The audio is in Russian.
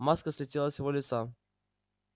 маска слетела с его лица